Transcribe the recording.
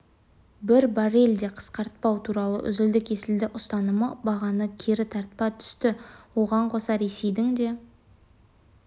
бір баррель де қысқартпау туралы үзілді-кесілді ұстанымы бағаны кері тарта түсті оған қоса ресейдің де